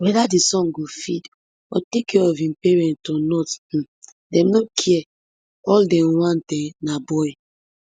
weda di son go feed or take care of im parents or not um dem no care all dem want um na boy